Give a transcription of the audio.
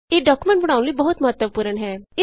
ਇਹ ਡਾਕੂਮੈਂਟ ਬਣਾਉਣ ਲਈ ਇਹ ਬਹੁਤ ਮਹੱਤਵਪੂਰਣ ਹੈ